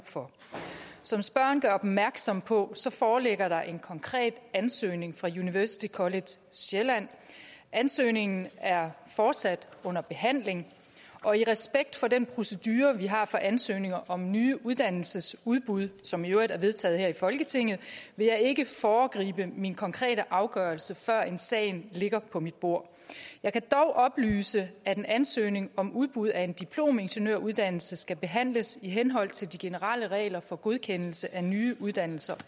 for som spørgeren gør opmærksom på foreligger der en konkret ansøgning fra university college sjælland ansøgningen er fortsat under behandling og i respekt for den procedure vi har for ansøgninger om nye uddannelsesudbud som i øvrigt er vedtaget her i folketinget vil jeg ikke foregribe min konkrete afgørelse førend sagen ligger på mit bord jeg kan dog oplyse at en ansøgning om udbud af en diplomingeniøruddannelse skal behandles i henhold til de generelle regler for godkendelse af nye uddannelser